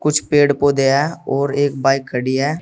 कुछ पेड़ पौधे हैं और एक बाइक खड़ी है।